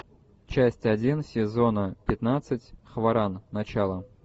часть один сезона пятнадцать хваран начало